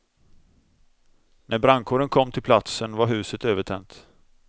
När brandkåren kom till platsen var huset övertänt.